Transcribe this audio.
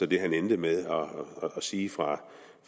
det han endte med at sige fra